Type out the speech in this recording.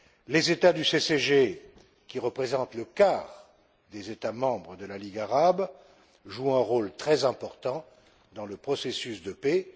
Les États du CCG, qui représentent le quart des États membres de la Ligue arabe, jouent un rôle très important dans le processus de paix.